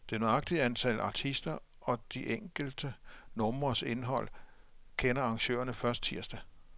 Det nøjagtige antal artister og de enkelte numres indhold kender arrangørerne først tirsdag.